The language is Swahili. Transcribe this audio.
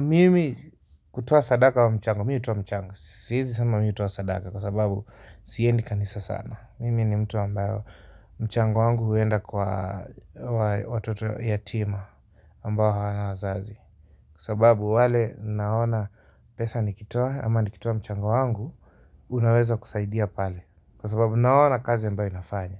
Mimi kutoa sadaka ama mchango, mi hutoa michango, siezi sema mi hutoa sadaka kwa sababu siendi kanisa sana mimi ni mtu ambayo mchango wangu huenda kwa watoto yatima ambayo hawana wazazi kwa sababu wale naona pesa nikitoa ama nikitoa mchango wangu, unaweza kusaidia pale kwa sababu naona kazi ambayo inafanya